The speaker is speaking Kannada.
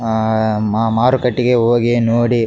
ಅಹ್ ಮ ಮಾರುಕಟ್ಟೆಗೆ ಹೋಗಿ ನೋಡಿ --